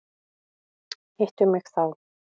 Hittu mig þá.